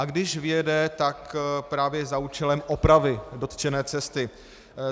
A když vyjede, tak právě za účelem opravy dotčené cesty.